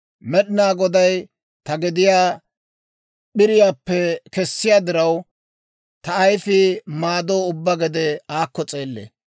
Med'inaa Goday ta gediyaa p'iriyaappe kessiyaa diraw, ta ayifii maadoo ubbaa gede aakko s'eellee.